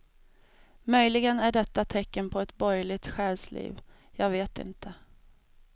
Möjligen är detta tecken på ett borgerligt själsliv, jag vet inte.